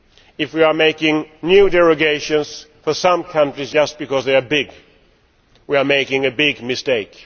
If we make new derogations for some countries just because they are big, we are making a big mistake.